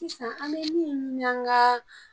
Sisan ani bɛ minu ɲini an ka